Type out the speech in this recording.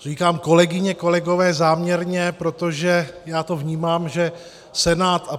Říkám, kolegyně, kolegové, záměrně, protože já to vnímám, že Senát a